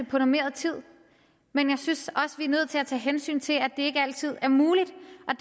på normeret tid men jeg synes også er nødt til at tage hensyn til at det ikke altid er muligt